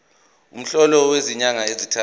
umholo wezinyanga ezintathu